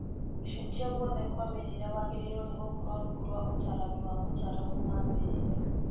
Gũcenjia oguothe kwa mĩrĩre wagĩrĩirwo nĩ gũkorwo rungu rwa ũtarani wa mũtaramu wa mĩrĩre